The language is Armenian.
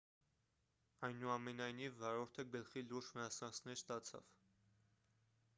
այնուամենայնիվ վարորդը գլխի լուրջ վնասվածքներ ստացավ